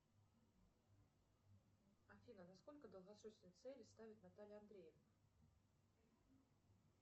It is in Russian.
афина на сколько долгосрочные цели ставит наталья андреевна